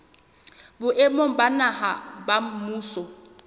boemong ba naha ba mmuso